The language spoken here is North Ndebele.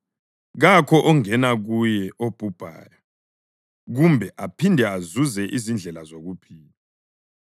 Kakho ongena kuye obuyayo kumbe aphinde azuze izindlela zokuphila.